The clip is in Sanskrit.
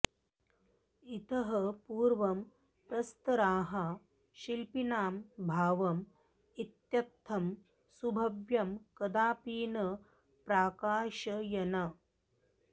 इतः पूर्वं प्रस्तराः शिल्पिनां भावम् इत्थं सुभव्यं कदापि न प्राकाशयन्